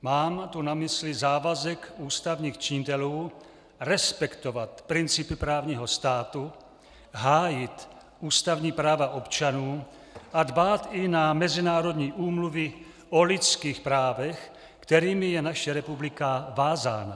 Mám tu na mysli závazek ústavních činitelů respektovat principy právního státu, hájit ústavní práva občanů a dbát i na mezinárodní úmluvy o lidských právech, kterými je naše republika vázána.